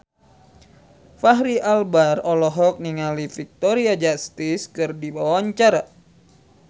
Fachri Albar olohok ningali Victoria Justice keur diwawancara